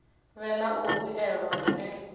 vhe na u vhuelwa hune